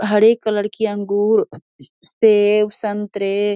हरे colour की अंगूर सेब संतरे --